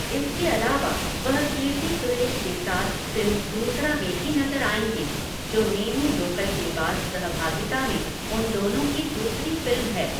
इसके अलावा वह कीर्ति सुरेश के साथ फ़िल्म दूसरा में भी नज़र आएंगे, जो नेनू लोकल के बाद सहभागिता में उन दोनों की दूसरी फ़िल्म है।